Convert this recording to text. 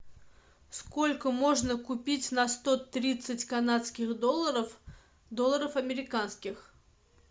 сколько можно купить на сто тридцать канадских долларов долларов американских